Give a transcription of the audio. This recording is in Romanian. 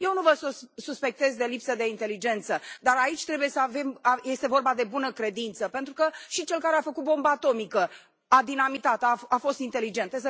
Eu nu vă suspectez de lipsă de inteligență, dar aici este vorba de bună credință, pentru că și cel care a făcut bomba atomică, a dinamitat o, a fost inteligent.